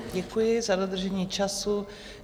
Děkuji za dodržení času.